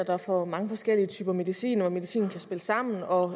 der får mange forskellige typer medicin og at medicinen kan spille sammen og